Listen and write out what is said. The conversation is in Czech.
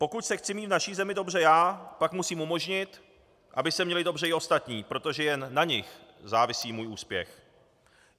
Pokud se chci mít v naší zemi dobře já, pak musím umožnit, aby se měli dobře i ostatní, protože jen na nich závisí můj úspěch.